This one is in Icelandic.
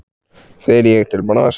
Fer ég til Brasilíu?